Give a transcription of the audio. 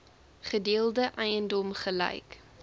gedeelde eiendom gelyk